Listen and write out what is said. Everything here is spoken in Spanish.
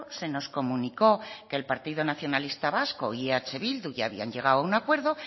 se nos comunicó que el partido nacionalista vasco y eh bildu ya habían llegado a un acuerdo